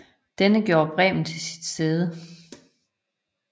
Denne gjorde Bremen til sit sæde